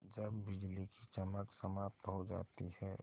जब बिजली की चमक समाप्त हो जाती है